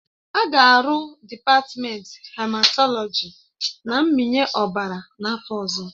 A ga-arụ dịpatmenti hematọlọji na mmịnye ọbara n'afọ ọzọ